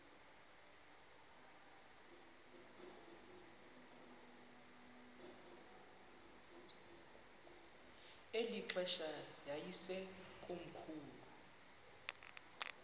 eli xesha yayisekomkhulu